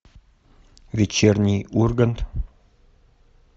вечерний ургант